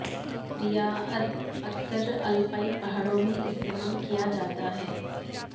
رعایت اکثر الپائن پہاڑوں میں استعمال کیا جاتا ہے